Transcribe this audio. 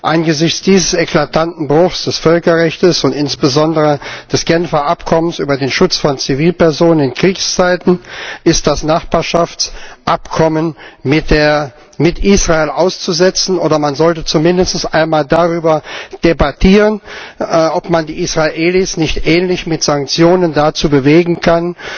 Angesichts dieses eklatanten Bruchs des Völkerrechts und insbesondere des Genfer Abkommens über den Schutz von Zivilpersonen in Kriegszeiten ist das Nachbarschaftsabkommen mit Israel auszusetzen, oder man sollte zumindest einmal darüber debattieren, ob man die Israelis nicht ähnlich mit Sanktionen dazu bewegen kann,